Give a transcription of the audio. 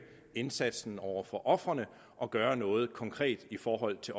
indsatsen over for ofrene og gøre noget konkret i forhold til